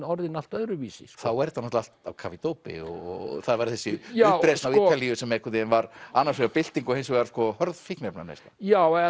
orðin allt öðruvísi þá er þetta allt á kafi í dópi og það var þessi uppreisn á Ítalíu sem var annars vegar bylting og hins vegar hörð fíkniefnaneysla já